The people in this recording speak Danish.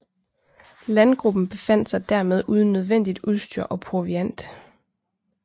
Landgruppen befandt sig dermed uden nødvendigt udstyr og proviant